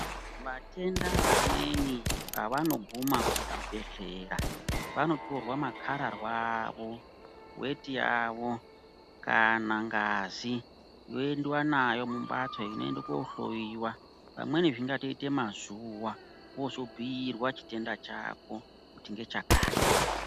Matenda amweni pavanoguma kuzvibhedhlera vanotorwa makarararwa avo weti yavo kana ngazi yoendiwa nayo kumhatso yoende kohloyiwa pamweni zvingatoite mazuwa wozobhiirwa chitenda chako kuti ngechakati.